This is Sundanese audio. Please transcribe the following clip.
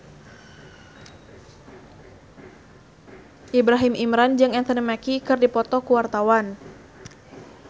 Ibrahim Imran jeung Anthony Mackie keur dipoto ku wartawan